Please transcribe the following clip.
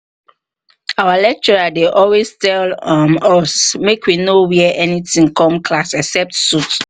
our lecturer dey always tell um us make we no wear anything come class except suit